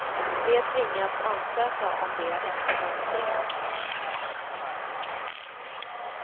De tvingas ansöka om det efter mönstringen.